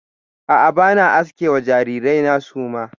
A'a, ba na aske wa jarirai na suma.